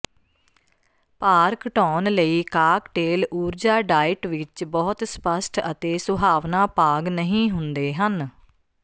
ਭਾਰ ਘਟਾਉਣ ਲਈ ਕਾਕਟੇਲ ਊਰਜਾ ਡਾਇਟ ਵਿੱਚ ਬਹੁਤ ਸਪੱਸ਼ਟ ਅਤੇ ਸੁਹਾਵਣਾ ਭਾਗ ਨਹੀਂ ਹੁੰਦੇ ਹਨ